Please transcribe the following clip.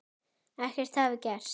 Ekkert hafi gerst.